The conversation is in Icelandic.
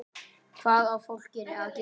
Hvað á fólkið að gera?